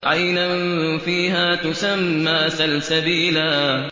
عَيْنًا فِيهَا تُسَمَّىٰ سَلْسَبِيلًا